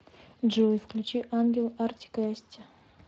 джой включи ангел артик и асти